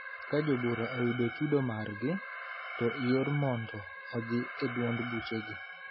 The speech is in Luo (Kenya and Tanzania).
Ka jo od bura oyudo chudo margi, to iooro mondo odhi e duond buchgi.